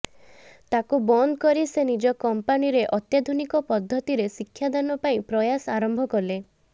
ତାକୁ ବନ୍ଦ କରି ସେ ନିଜ କମ୍ପାନୀରେ ଅତ୍ୟାଧୁନିକ ପଦ୍ଧତିରେ ଶିକ୍ଷାଦାନ ପାଇଁ ପ୍ରୟାସ ଆରମ୍ଭ କଲେ